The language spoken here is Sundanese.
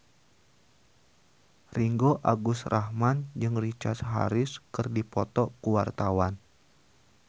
Ringgo Agus Rahman jeung Richard Harris keur dipoto ku wartawan